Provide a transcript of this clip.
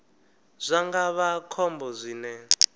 zwa nga vha khombo zwine